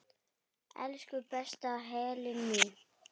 Elsku besta Helena mín.